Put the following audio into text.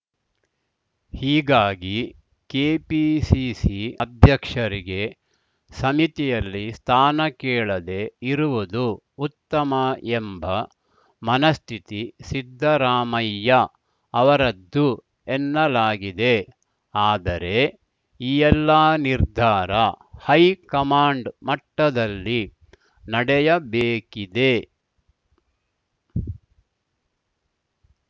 ಹೀಗಾಗಿ ಕೆಪಿಸಿಸಿ ಅಧ್ಯಕ್ಷರಿಗೆ ಸಮಿತಿಯಲ್ಲಿ ಸ್ಥಾನ ಕೇಳದೆ ಇರುವುದು ಉತ್ತಮ ಎಂಬ ಮನಸ್ಥಿತಿ ಸಿದ್ದರಾಮಯ್ಯ ಅವರದ್ದು ಎನ್ನಲಾಗಿದೆ ಆದರೆ ಈ ಎಲ್ಲಾ ನಿರ್ಧಾರ ಹೈಕಮಾಂಡ್‌ ಮಟ್ಟದಲ್ಲಿ ನಡೆಯಬೇಕಿದೆ